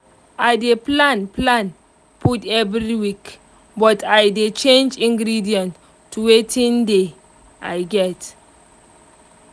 i dey plan plan food every week but i dey change ingredients to watin dey i get